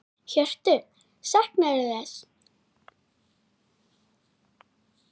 Hjörtur: Saknarðu þess?